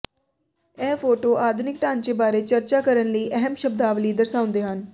ਇਹ ਫੋਟੋ ਆਧੁਨਿਕ ਢਾਂਚੇ ਬਾਰੇ ਚਰਚਾ ਕਰਨ ਲਈ ਅਹਿਮ ਸ਼ਬਦਾਵਲੀ ਦਰਸਾਉਂਦੇ ਹਨ